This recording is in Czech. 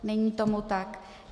Není tomu tak.